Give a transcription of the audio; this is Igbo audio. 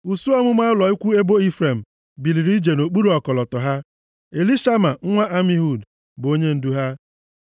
Usuu ọmụma ụlọ ikwu ebo Ifrem biliri ije nʼokpuru ọkọlọtọ ha. Elishama nwa Amihud bụ onyendu ha.